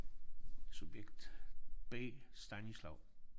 Subjekt B Stanislav